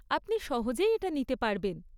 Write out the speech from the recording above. আপনি সহজেই এটা নিতে পারবেন।